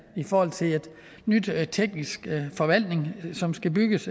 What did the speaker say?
i forhold til en ny teknisk forvaltning som skal bygges